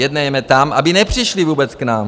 Jednejme tam, aby nepřišli vůbec k nám.